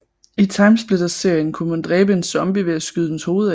I TimeSplitters serien kunne man dræbe en zombie ved at skyde dens hoved af